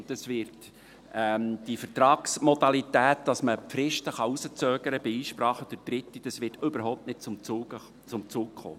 Die Vertragsmodalitäten, dass man die Fristen bei Einsprachen durch Dritte hinauszögern kann, wird überhaupt nicht zum Zug kommen.